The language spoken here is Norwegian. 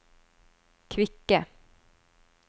kvikke